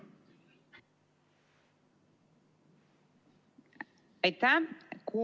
Aitäh!